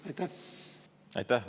Aitäh!